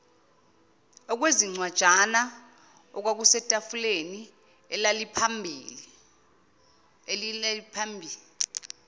okwezincwajana okwakusetafuleni elaliphambi